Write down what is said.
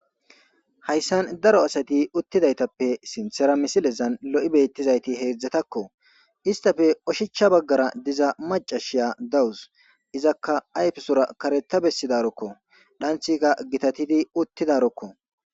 hayssan daro asati uttidaytappe sinthera misilezan lo7i beettizayti heedzdzatakko istafe oshicha baggara diza macashiya dawus izakka ayfesora kareta bessidarokko dhanthika gitatidi uttidarokko